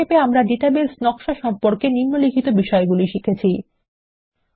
সংক্ষেপে আমরা ডাটাবেস নকশা সম্পর্কে নিম্নলিখিত বিষয়গুলি আলোচনা শিখেছি 7